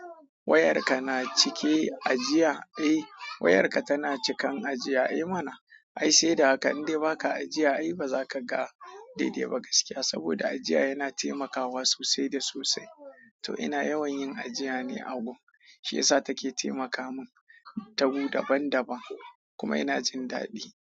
Wayarka na cike ajiya? Eh wayarka tana cikan ajiya. I mana! Ai sai da haka, in dai ba ka ajiya ai ba za ka ga daidai ba gaskiya. Saboda ajiya yana taimakawa sosai da sosai. To ina yawan yin ajiya ne a Google. Shi yasa take taimaka min ta gu daban daban kuma ina jin daɗi.